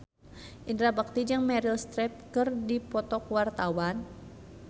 Indra Bekti jeung Meryl Streep keur dipoto ku wartawan